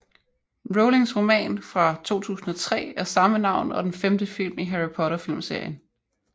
Rowlings roman fra 2003 af samme navn og den femte film i Harry Potter filmserien